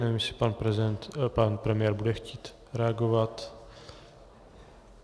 Nevím, jestli pan premiér bude chtít reagovat.